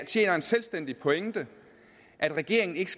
en selvstændig pointe at regeringen ikke